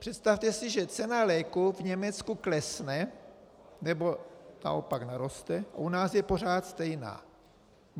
Představte si, že cena léku v Německu klesne, nebo naopak naroste, a u nás je pořád stejná.